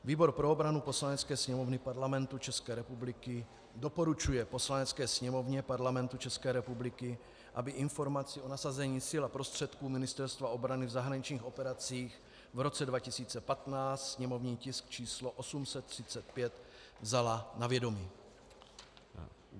"Výbor pro obranu Poslanecké sněmovny Parlamentu České republiky doporučuje Poslanecké sněmovně Parlamentu České republiky, aby Informaci o nasazení sil a prostředků Ministerstva obrany v zahraničních operacích v roce 2015, sněmovní tisk č. 835, vzala na vědomí."